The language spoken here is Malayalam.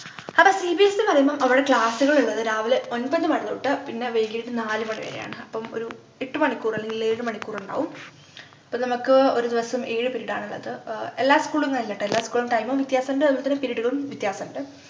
ആട cbse ന്നു പറയുമ്പോ അവിടെ class കൾ ള്ളത് രാവിലെ ഒമ്പത് മണി തൊട്ട് പിന്നെ വൈകിട്ട് നാല് മണി വരെയാണ് അപ്പം ഒരു എട്ടു മണിക്കൂര്‍ അല്ലെങ്കില്‍ ഏഴു മണിക്കൂറുണ്ടാവും അപ്പൊ നമുക്ക് ഒരു ദിവസം ഏഴ് period ആണുള്ളത് ആഹ് എല്ലാ school ഉംന്നല്ലാട്ടോ എല്ലാ school ഉം time ഉം വ്യത്യാസണ്ട് അതു പോലെ തന്നെ period കളും വ്യത്യാസണ്ട്